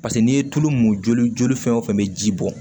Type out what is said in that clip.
Paseke n'i ye tulu mun joli joli fɛn o fɛn bɛ ji bɔ